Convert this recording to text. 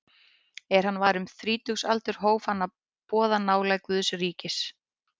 Er hann var um þrítugsaldur hóf hann að boða nálægð Guðs ríkis.